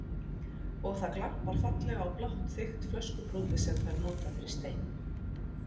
Og það glampar fallega á blátt þykkt flöskubrotið sem þær nota fyrir stein.